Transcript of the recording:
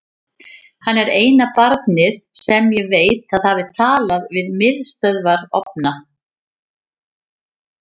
Hann er eina barnið sem ég veit að hafi talað við miðstöðvarofna.